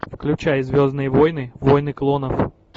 включай звездные войны войны клонов